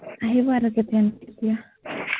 আহিব আৰু কেতিয়ানো কেতিয়া